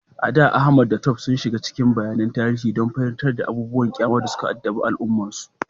A da, Ahmad da Tope sun shiga cikin bayanan tarihi don fahimtar abubuwan ƙyama da suka addabi al’ummarsu.